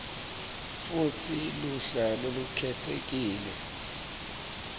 futsi luhla lolukhetsekile